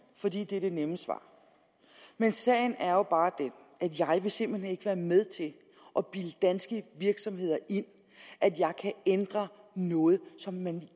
fordi det er det nemme svar sagen er jo bare den at jeg simpelt hen ikke vil være med til at bilde danske virksomheder ind at jeg kan ændre noget som man